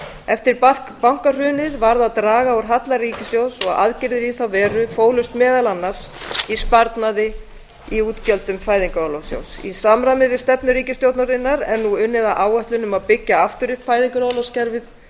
eftir bankahrunið varð að draga úr halla ríkissjóðs og aðgerðir í þá veru fólust meðal annars í sparnaði í útgjöldum fæðingarorlofssjóðs í samræmi við stefnu ríkisstjórnarinnar er nú unnið að áætlun um að byggja aftur upp fæðingarorlofskerfið og